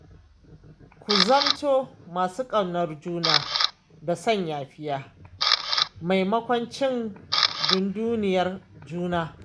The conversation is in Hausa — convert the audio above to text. Ku zamto masu ƙaunar juna da son yafiya, maimakon cin dunduniyar juna.